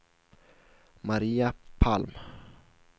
Maria Palm